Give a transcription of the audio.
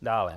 Dále.